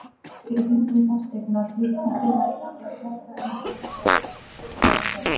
ef raunvirði fasteigna hlutafélags er hærra er bókfært verð þeirra.